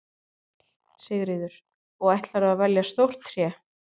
Sigríður: Og ætlarðu að velja stórt tré?